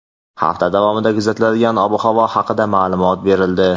Hafta davomida kuzatiladigan ob-havo haqida ma’lumot berildi.